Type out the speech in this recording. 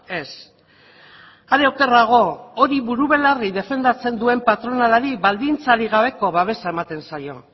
ez are okerrago hori buru belarri defendatzen duen patronalari baldintzarik gabeko babesa ematen zaio